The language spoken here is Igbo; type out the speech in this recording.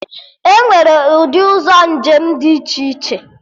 Enwere ụdị ụzọ njem dị iche iche